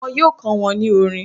Wọn yóò kọ́ wọn ní orin.